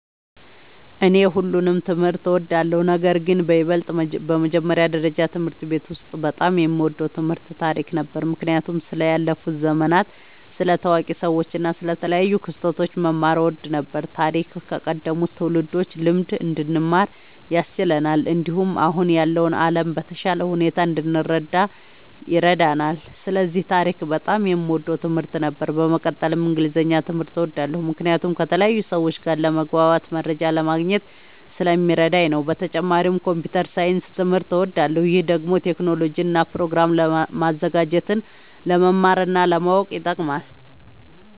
እኔ ሁሉንም ትምህርት እወዳለሁ፤ ነገርግን በይበልጥ በመጀመሪያ ደረጃ በትምህርት ቤት ውስጥ በጣም የምወደው ትምህርት ታሪክ ነበር። ምክንያቱም ስለ ያለፉ ዘመናት፣ ስለ ታዋቂ ሰዎች እና ስለ ተለያዩ ክስተቶች መማር እወድ ነበር። ታሪክ ከቀደሙት ትውልዶች ልምድ እንድንማር ያስችለናል፣ እንዲሁም አሁን ያለውን ዓለም በተሻለ ሁኔታ እንድንረዳ ይረዳናል። ስለዚህ ታሪክ በጣም የምወደው ትምህርት ነበር። በመቀጠልም እንግሊዝኛ ትምህርት እወዳለሁ ምክንያቱም ከተለያዩ ሰዎች ጋር ለመግባባትና መረጃ ለማግኘት ስለሚረዳኝ ነዉ። በተጨማሪም ኮምፒዉተር ሳይንስ ትምህርትም እወዳለሁ። ይህ ደግሞ ቴክኖሎጂን እና ፕሮግራም ማዘጋጀትን ለመማር እና ለማወቅ ይጠቅማል።